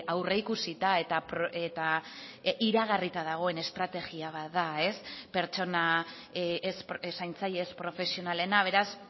aurreikusita eta iragarrita dagoen estrategia bat da zaintzaile ez profesionalena beraz